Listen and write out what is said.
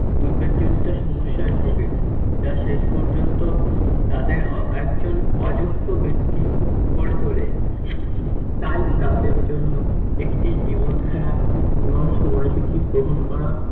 উদ্বেগজনিত সমস্যায় ভোগে, যা শেষপর্যন্ত তাদের অযোগ্য ব্যাক্তি করে তোলে। তাই তাদের জন্য একটি জীবনধারা এবং সময়সূচি গ্রহণ করা